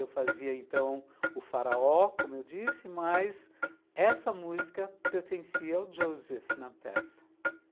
Eu fazia, então, o Faraó, como eu disse, mas essa música pertencia ao Joseph na peça.